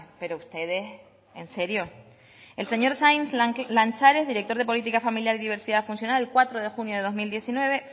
pero ustedes en serio el señor sainz lanchares director de política familiar y diversidad funcional el cuatro de junio del dos mil diecinueve